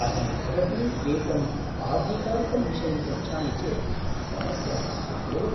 अहं भवतीम् एकं आधिकारिकं विषयं पृच्छामि चेत् समस्या नास्ति खलु?